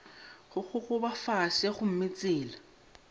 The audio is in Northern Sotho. go gogoba fase gomme tsela